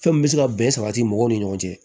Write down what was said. Fɛn min bɛ se ka bɛn sabati mɔgɔw ni ɲɔgɔn cɛ